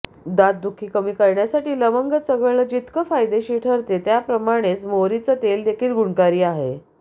दातदुखी कमी करण्यासाठी लवंग चघळणं जितकं फायदेशीर ठरते त्याप्रमाणेच मोहरीचं तेलदेखील गुणकारी आहे